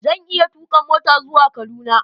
Zan iya tuka mota zuwa Kaduna